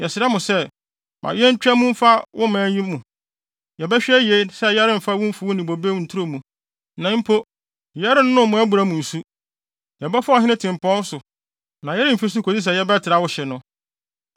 Yɛsrɛ mo sɛ, ma yentwa mu mfa wo man yi mu. Yɛbɛhwɛ yiye sɛ yɛremfa mo mfuw ne mo bobe nturo mu. Na mpo, yɛrennom mo abura mu nsu. Yɛbɛfa Ɔhene Tempɔn so na yɛremfi so kosi sɛ yɛbɛtra wo hye no.”